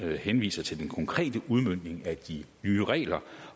henviser til den konkrete udmøntning af de nye regler